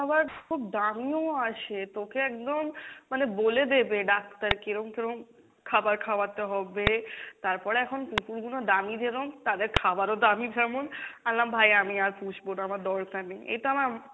খুব দামিও আসে, তোকে একদম মানে বলে দেবে ডাক্তার কেরম কেরম খাবার খাওয়াতে হবে, তারপর এখন কুকুর গুনো দামী যেরম তাদের খাওয়ারও দামী সেমন, ভাই আমি আর পুষবো না আমার দরকার নেই, এইতো আমার